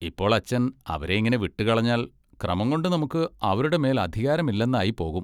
ഇപ്പോൾ അച്ചൻ അവരെയിങ്ങനെ വിട്ടുകളഞ്ഞാൽ ക്രമംകൊണ്ട് നമുക്ക് അവരുടെ മേൽ അധികാരമില്ലെന്നായിപ്പോകും.